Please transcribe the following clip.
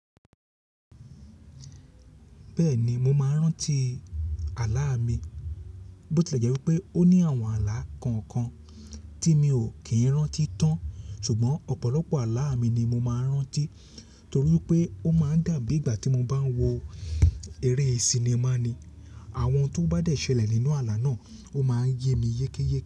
Bẹ́ẹ̀ni mo máa ń rántí ààlà mi, bó ti e jẹ́ wí pé ó ní àwọn ààlà kọ̀ọ̀kan tí mi ò kì í rántí tán, ṣùgbọ́n ọ̀pọ̀lọpọ̀ ààlà mi ni mo máa ń rántí torí pé ó máa ń dàbí ìgbà tí mo bá ń wo eré sinimá ni. Àwọn tó bá dẹ̀ ṣẹlẹ̀ nínú ààlà náà ó máa ń yé mi yékéyé.